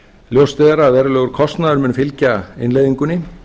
ljóst er að verulegur kostnaður mun fylgja innleiðingunni